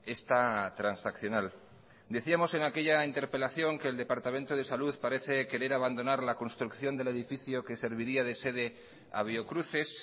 esta transaccional decíamos en aquella interpelación que el departamento de salud parece querer abandonar la construcción del edificio que serviría de sede a biocruces